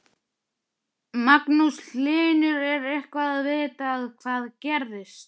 Magnús Hlynur: Er eitthvað vitað hvað gerðist?